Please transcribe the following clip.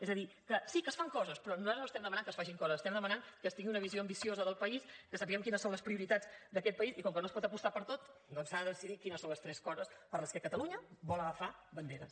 és a dir que sí que es fan coses però nosaltres no estem demanat que es facin coses estem demanant que es tingui una visió ambiciosa del país que sapiguem quines són les prioritats d’aquest país i com que no es port apostar per tot doncs s’ha de decidir quines són les tres coses per les que catalunya vol agafar banderes